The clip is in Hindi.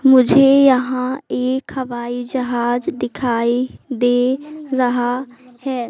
मुझे यहां एक हवाई जहाज दिखाई दे रहा है।